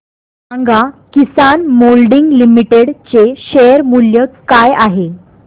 सांगा Kisan moulding limited चे share मूल्य काय आहे